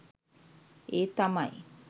ඒ තමයි